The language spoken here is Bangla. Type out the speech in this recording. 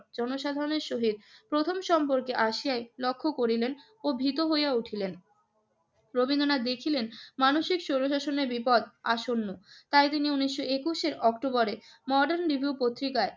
জনসাধারণের সহিত প্রথম সম্পর্কে আসিয়াই লক্ষ্য করিলেন ও ভীত হইয়া উঠলেন। রবীন্দ্রনাথ দেখিলেন মানুষের স্বৈরশাসনের বিপদ আসন্ন। তাই তিনি একুশের অক্টোবরে মর্ডান রিভিউ পত্রিকায়